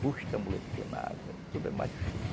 Custa amolecer na água, tudo é mais difícil.